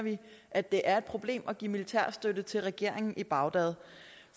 at det er et problem at give militær støtte til regeringen i bagdad